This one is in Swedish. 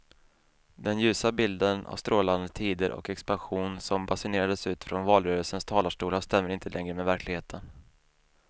Den ljusa bilden av strålande tider och expansion som basunerades ut från valrörelsens talarstolar stämmer inte längre med verkligheten.